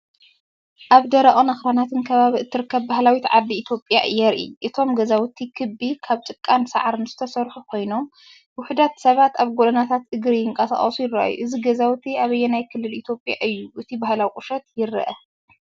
ኣብ ደረቕን ኣኽራናትን ከባቢ እትርከብ ባህላዊት ዓዲ ኢትዮጵያ የርኢ። እቶም ገዛውቲ ክቢ፡ ካብ ጭቃን ሳዕርን ዝተሰርሑ ኮይኖም፡ ውሑዳት ሰባት ኣብ ጎደናታት እግሪ ይንቀሳቐሱ ይረኣዩ። እዚ ገዛውቲ ኣብ ኣየናይ ክልል ኢትዮጵያ እዩ እቲ ባህላዊ ቁሸት ይርአ?